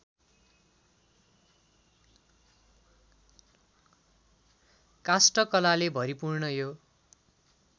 काष्ठकलाले भरिपूर्ण यो